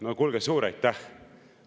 No kuulge, suur aitäh!